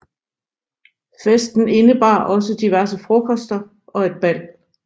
Festen indebar også diverse frokoster og et bal